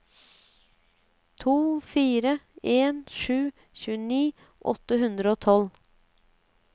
to fire en sju tjueni åtte hundre og tolv